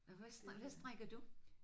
Og hvad hvad strikker du?